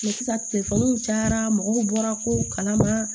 sisan telefɔni cayara mɔgɔw bɔra ko kalama